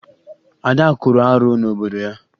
Ada kwuru arụ n'obodo ya